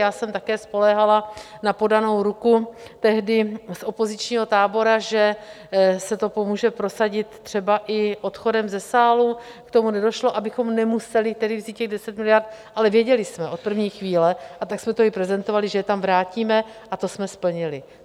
Já jsem také spoléhala na podanou ruku tehdy z opozičního tábora, že se to pomůže prosadit třeba i odchodem ze sálu, k tomu nedošlo, abychom nemuseli tedy vzít těch 10 miliard, ale věděli jsme od první chvíle, a tak jsme to i prezentovali, že je tam vrátíme, a to jsme splnili.